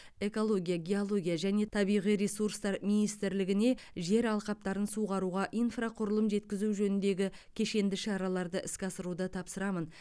экология геология және табиғи ресурстар министрлігіне жер алқаптарын суғаруға инфрақұрылым жеткізу жөніндегі кешенді шараларды іске асыруды тапсырамын